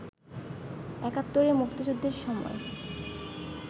একাত্তরে মুক্তিযুদ্ধের সময়